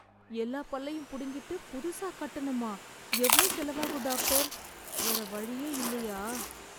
எல்லா பல்லையும் புடிங்கிட்டு புதுசா கட்டணுமா? எவ்ளோ செலவாகும் டாக்டர்? வேற வழியே இல்லையா?